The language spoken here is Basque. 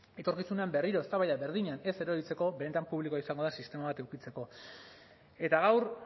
etorkizunean berriro eztabaida berdinean ez erortzeko benetan publikoa izango den sistema bat edukitzeko eta gaur